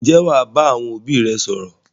Ǹjẹ́ wà á bá àwọn òbí rẹ sọ̀rọ̀?